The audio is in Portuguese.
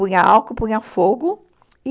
Punha álcool, punha fogo e...